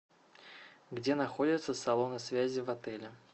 где находятся салоны связи в отеле